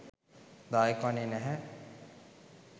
දායක වන්නෙ නැහැ.